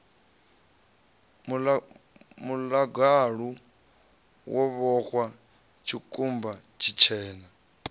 muḽagalu wo vhoxwa tshikumba tshitshena